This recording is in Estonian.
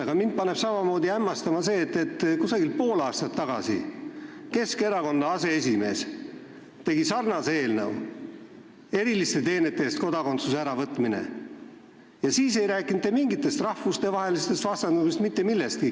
Aga mind paneb samamoodi hämmastama, et umbes pool aastat tagasi tegi Keskerakonna aseesimees sarnase eelnõu eriliste teenete eest kodakondsuse äravõtmise kohta, aga siis ei rääkinud te mingist rahvuste vastandamisest, mitte millestki.